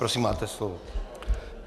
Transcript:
Prosím, máte slovo.